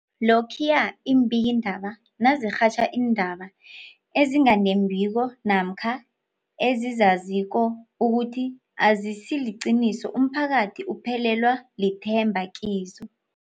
Lokhuya iimbikiindaba nazirhatjha iindaba ezinga nembiko namkha ezizaziko ukuthi azisiliqiniso, umphakathi uphelelwa lithemba kizo.